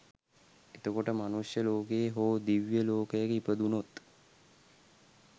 එතකොට මනුෂ්‍ය ලෝකයේ හෝ දිව්‍ය ලෝකයක ඉපදුණොත්